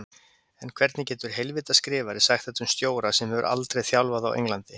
En hvernig getur heilvita skrifari sagt þetta um stjóra sem hefur aldrei þjálfað á Englandi?